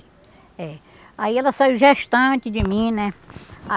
É. Aí ela saiu gestante de mim, né? Ah